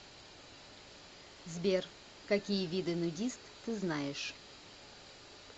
сбер какие виды нудист ты знаешь